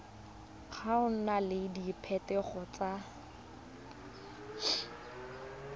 go na le diphetogo tse